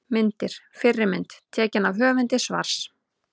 Myndir: Fyrri mynd: Tekin af höfundi svars.